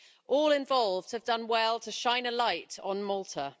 All involved have done well to shine a light on Malta.